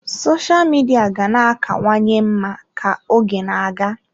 Sosha Midia ga na-akawanye mma ka oge na-aga.